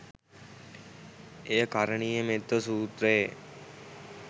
එය කරණීය මෙත්ත සූත්‍රයේ